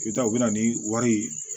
I bɛ taa u bɛ na ni wari ye